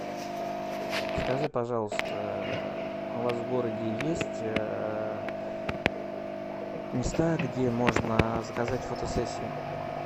скажи пожалуйста у вас в городе есть места где можно заказать фотосессию